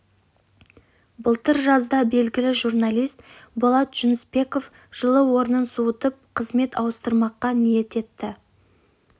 былтыр жазда белгілі журналист болат жүнісбеков жылы орнын суытып қызмет ауыстырмаққа ниет етті